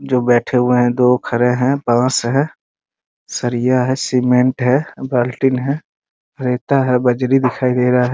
जो बैठे हुए हैं दो खड़े हैं बांस है सरिया है सीमेंट है बाल्टी है रेता है बजरी दिखाई दे रहा है ।